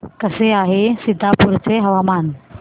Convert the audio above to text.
कसे आहे सीतापुर चे हवामान